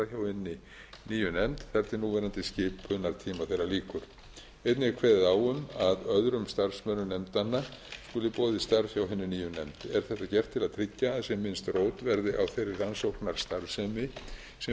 hinni nýju nefnd þar til núverandi skipunartíma þeirra lýkur einnig er kveðið á um að öðrum starfsmönnum nefndanna skuli boðið starf hjá hinni nýju nefnd er þetta gert til að tryggja að sem minnst rót verði á þeirri rannsóknarstarfsemi sem